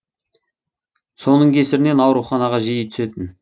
соның кесірінен ауруханаға жиі түсетін